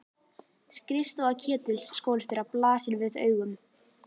Skrifstofa Ketils skólastjóra blasir við augum.